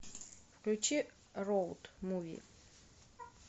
включи роуд муви